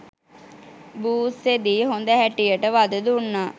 බූස්සෙදි හොද හැටියට වධ දුන්නා.